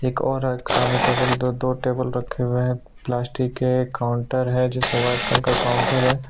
एक और एक सामने टेबल दो-दो टेबल रखे हुए प्लास्टिक के काउंटर है जो वाइट कलर का काउंटर है।